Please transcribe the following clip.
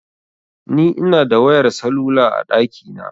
Ni Ina da wayar salula a ɗakina